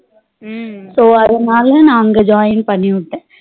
So அதனால நா அங்க join பண்ணிவிட்டேன்